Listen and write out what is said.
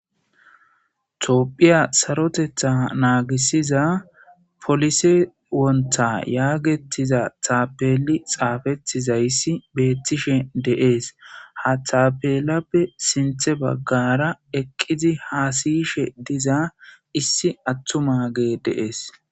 Tophphiya saroteththa nagisiza polise wonta yagetiza tapeli xaafetizayis betishe deesi haaththa penape eqidi haasiza issi atumagey deesi